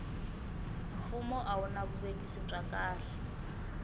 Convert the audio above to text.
fumo a a wuna vuvekisi bya kahle